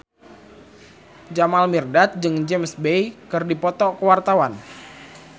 Jamal Mirdad jeung James Bay keur dipoto ku wartawan